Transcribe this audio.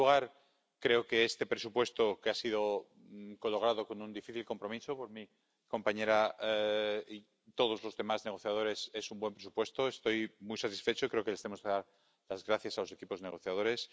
En primer lugar, creo que este presupuesto —que ha sido cologrado con un difícil compromiso por mi compañera y todos los demás negociadores— es un buen presupuesto, estoy muy satisfecho, y creo que les tenemos que dar las gracias a los equipos negociadores